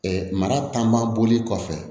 mara taama boli kɔfɛ